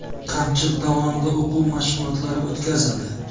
Qamchiq dovonida o‘quv mashg‘ulotlari o‘tkazildi.